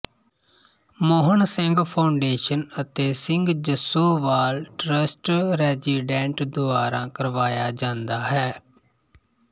Mohan Singh foundation ਅਤੇ Singh Jassowal trust resident ਦੁਆਰਾ ਕਰਵਾਇਆ ਜਾਂਦਾ ਹੈ